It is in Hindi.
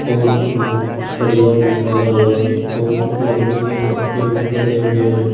और इसमें कुछ सरिया भी लगा हुआ है और कुछ लकड़ी के फट्टे भी बंधे हुए हैं।